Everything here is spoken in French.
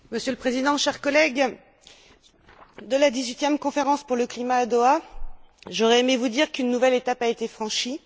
Monsieur le Président, chers collègues, à propos de la dix huitième conférence pour le climat à Doha, j'aurais aimé vous dire qu'une nouvelle étape a été franchie.